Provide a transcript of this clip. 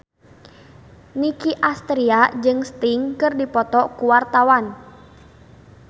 Nicky Astria jeung Sting keur dipoto ku wartawan